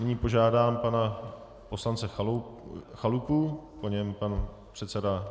Nyní požádám pana poslance Chalupu, po něm pan předseda Kalousek.